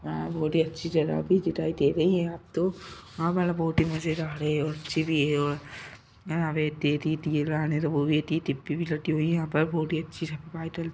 बहुत ही अच्छी जगह भी दिखाईं दे रही है। अब तो हवा बहुत ही मजेदार है और अच्छी भी है और यहाँ पे भी रखी हुई है यहाँ पर बहुत ही अच्छी सफाई --